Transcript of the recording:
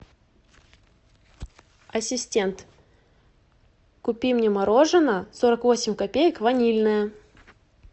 ассистент купи мне мороженое сорок восемь копеек ванильное